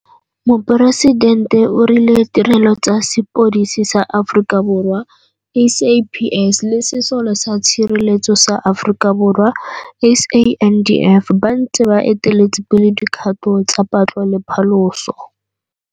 Moporesidente o rile Tirelo tsa Sepodisi sa Aforika Borwa, SAPS, le Sesole sa Tshireletso sa Aforika Borwa, SANDF, ba ntse ba eteletse pele dikgato tsa patlo le phaloso.